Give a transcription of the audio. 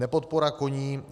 Nepodpora koním.